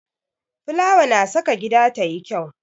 Fulawa na saka gida tayi kyau.